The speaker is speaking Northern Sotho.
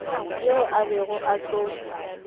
yeo a bego a tlo